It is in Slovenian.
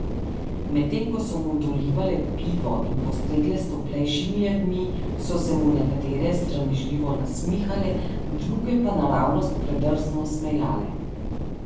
Medtem ko so mu dolivale pivo in postregle s toplejšimi jedmi, so se mu nekatere sramežljivo nasmihale, druge pa naravnost predrzno smejale.